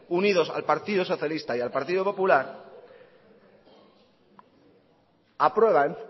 unidos al partido socialista y al partido popular aprueban